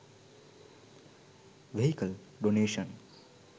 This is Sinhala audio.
vehicle donation